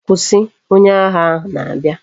Kwusi! onye agha ahu na abia!